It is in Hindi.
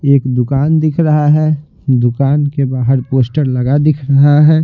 एक दुकान दिख रहा है दुकान के बाहर पोस्टर लगा दिख रहा है।